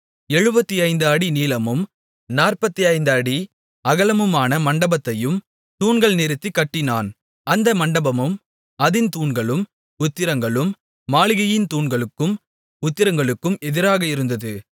75 அடி நீளமும் 45 அடி அகலமுமான மண்டபத்தையும் தூண்கள் நிறுத்திக் கட்டினான் அந்த மண்டபமும் அதின் தூண்களும் உத்திரங்களும் மாளிகையின் தூண்களுக்கும் உத்திரங்களுக்கும் எதிராக இருந்தது